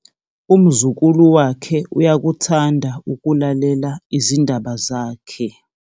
umzukulu wakhe uyakuthanda ukulalela izindaba zakhe